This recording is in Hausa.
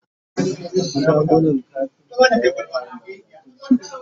shagunan kafinta da yawa na bakin titi